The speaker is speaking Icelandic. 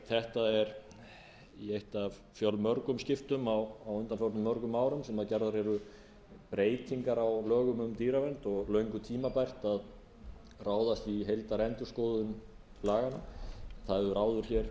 þetta er eitt af fjölmörgum skiptum á undanförnum mörgum árum sem gerðar eru breytingar á lögum um dýravernd og löngu tímabært að ráðast í heildarendurskoðun laganna það hefur áður